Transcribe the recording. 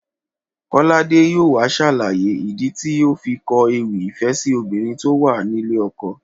Kọ́ládé yóò wá ṣàlàyé ìdí tó fi kọ ewì ìfẹ́ sí obìnrin tó wà nílé ọkọ